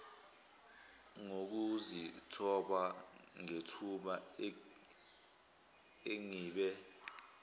ngokuzithoba ngethuba engibe